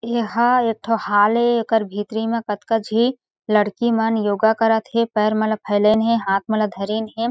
एहा एकठो हॉल ए एकर भीतरी म कतका झी लड़की मन योगा करत हे पैर मन ल फैलाइन हे हाथ मन ल धरिन हे।